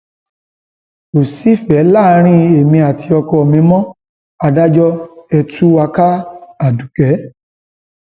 kò sífẹẹ láàrin èmi àti ọkọ mi mo adájọ ẹ tú wa káadukẹ